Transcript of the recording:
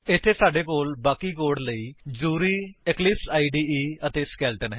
ਇੱਥੇ ਸਾਡੇ ਕੋਲ ਬਾਕੀ ਕੋਡ ਲਈ ਜ਼ਰੂਰੀ ਇਕਲਿਪਸ ਇਦੇ ਅਤੇ ਸਕੇਲੇਟਨ ਹੈ